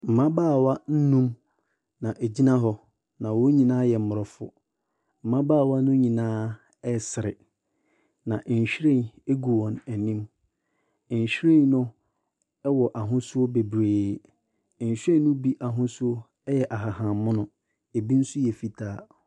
Mbabaawa nnum ɛna egyina hɔ na wɔnyinaa yɛ mborɔfo. Mbabaawa no nyinaa ɛsere, na nhwiren egu wɔn enim. Nhwiren no ɛwɔ ahosuo bebree, nhwiren no bi ahosuo ɛyɛ ahahammono, ebi so yɛ fitaa.